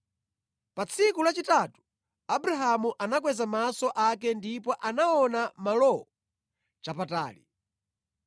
Pa tsiku lachitatu, Abrahamu anakweza maso ake ndipo anaona malowo chapatali.